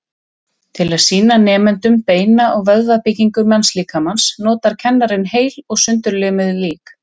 Til að sýna nemendum beina- og vöðvabyggingu mannslíkamans notar kennarinn heil og sundurlimuð lík.